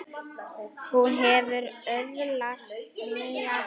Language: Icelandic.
Hún hefur öðlast nýja sýn.